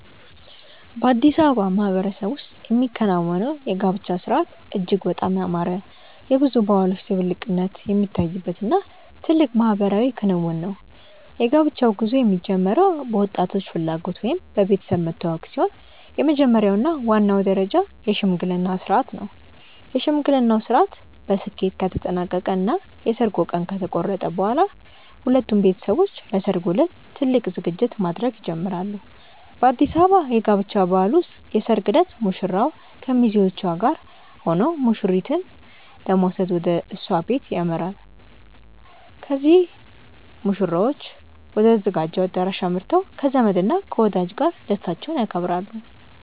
በአዲስ አበባ ማህበረሰብ ውስጥ የሚከናወነው የጋብቻ ሥርዓት እጅግ በጣም ያማረ፣ የብዙ ባህሎች ድብልቅነት የሚታይበት እና ትልቅ ማህበራዊ ክንውን ነው። የጋብቻው ጉዞ የሚጀምረው በወጣቶቹ ፍላጎት ወይም በቤተሰብ መተዋወቅ ሲሆን፣ የመጀመሪያው እና ዋናው ደረጃ የሽምግልና ሥርዓት ነው። የሽምግልናው ሥርዓት በስኬት ከተጠናቀቀ እና የሰርጉ ቀን ከተቆረጠ በኋላ፣ ሁለቱም ቤተሰቦች ለሠርጉ ዕለት ትልቅ ዝግጅት ማድረግ ይጀምራሉ። በአዲስ አበባ የጋብቻ ባህል ውስጥ የሰርግ ዕለት ሙሽራው ከሚዜዎቹ ጋር ሆኖ ሙሽሪትን ለመውሰድ ወደ እሷ ቤት ያመራል። ከዚያም ሙሽሮቹ ወደ ተዘጋጀው አዳራሽ አምርተው ከዘመድ እና ከወዳጅ ጋር ደስታቸውን ያከብራሉ።